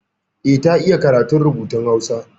Eh, ta iya karatun rubutun Hausa.